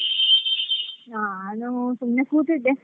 ನಾನು ಸುಮ್ನೆ ಕೂತಿದ್ದೆ.